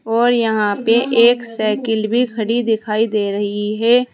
और यहां पे एक साइकिल भी खड़ी दिखाई दे रही है।